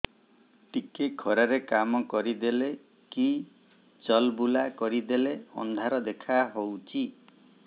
ଟିକେ ଖରା ରେ କାମ କରିଦେଲେ କି ଚଲବୁଲା କରିଦେଲେ ଅନ୍ଧାର ଦେଖା ହଉଚି